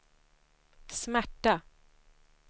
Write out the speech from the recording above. smärta